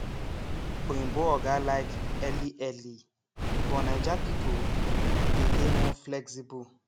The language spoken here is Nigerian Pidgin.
oyinbo oga like early early but naija people dey dey more flexible